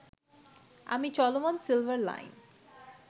আমি চলমান silver line